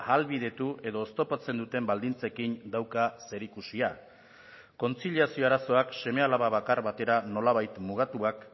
ahalbidetu edo oztopatzen duten baldintzekin dauka zerikusia kontziliazio arazoak seme alaba bakar batera nolabait mugatuak